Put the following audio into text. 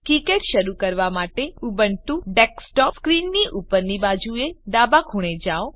KiCad શરૂ કરવા માટે ઉબુન્ટુ ડેસ્કટોપ સ્ક્રીનની ઉપરની બાજુએ ડાબા ખૂણે જાઓ